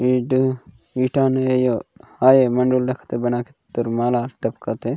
ईड इडा न अयो हाय मंडो लख द बना के तोर मा लास्ट टपक थे।